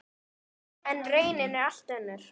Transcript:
En raunin er allt önnur.